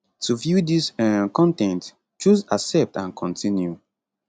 to view dis um con ten t choose accept and continue